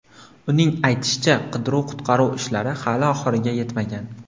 Uning aytishicha, qidiruv-qutqaruv ishlari hali oxiriga yetmagan.